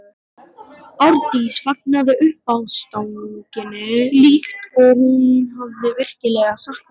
Arndís fagnaði uppástungunni líkt og hún hefði virkilega saknað mín.